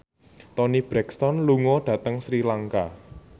Toni Brexton lunga dhateng Sri Lanka